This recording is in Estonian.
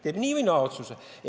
Ta teeb nii või naa otsuse.